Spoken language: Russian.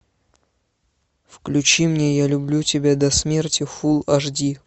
включи мне я люблю тебя до смерти фулл аш ди